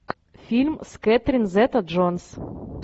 фильм с кэтрин зета джонс